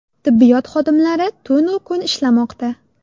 Tibbiyot xodimlari tunu kun ishlamoqda.